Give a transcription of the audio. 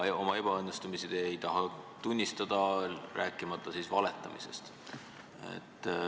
Oma ebaõnnestumisi ei taha te tunnistada, rääkimata valetamisest.